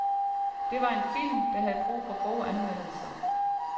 Det var en film, der havde brug for gode anmeldelser.